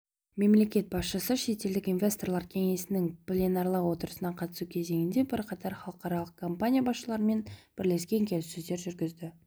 мемлекет басшысы шетелдік инвесторлар кеңесінің пленарлық отырысына қатысу кезінде бірқатар халықаралық компания басшыларымен бірлескен келіссөздер жүргізді